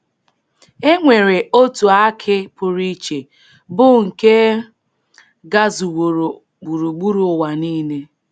E nwere otu akị pụrụ iche bụ nke gazuworo gburugburu ụwa niile.